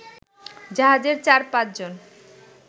জাহাজের চারপাঁচজন